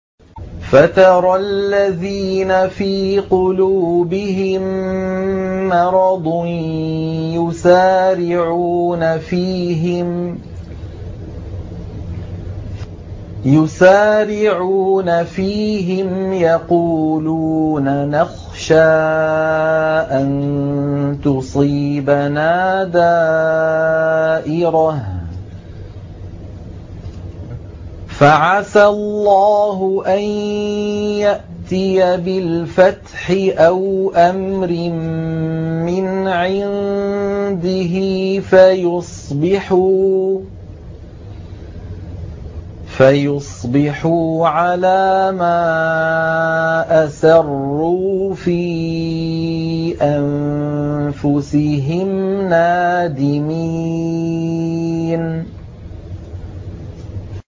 فَتَرَى الَّذِينَ فِي قُلُوبِهِم مَّرَضٌ يُسَارِعُونَ فِيهِمْ يَقُولُونَ نَخْشَىٰ أَن تُصِيبَنَا دَائِرَةٌ ۚ فَعَسَى اللَّهُ أَن يَأْتِيَ بِالْفَتْحِ أَوْ أَمْرٍ مِّنْ عِندِهِ فَيُصْبِحُوا عَلَىٰ مَا أَسَرُّوا فِي أَنفُسِهِمْ نَادِمِينَ